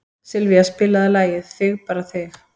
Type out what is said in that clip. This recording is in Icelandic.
Sylvía, spilaðu lagið „Þig bara þig“.